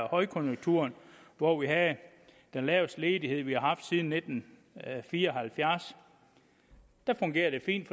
højkonjunkturen hvor vi havde den laveste ledighed vi har haft siden nitten fire og halvfjerds der fungerede det fint